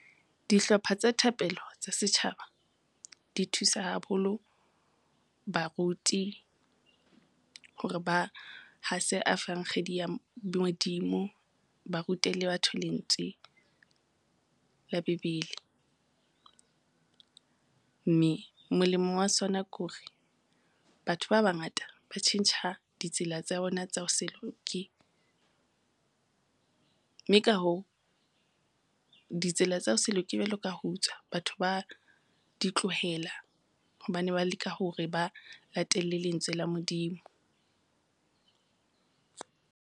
Dihlopha tsa thapelo tsa setjhaba di thusa haholo baruti, hore ba hase efankgedi ya Modimo, ba rute le batho lentswe la Bebele. Mme molemo wa sona kore batho ba bangata ba tjhentjha ditsela tsa bona tsa ho se loke, mme ka hoo, ditsela tsa ho se loke jwalo ka ho utswa, batho ba di tlohela hobane ba leka hore ba latele lentswe la Modimo.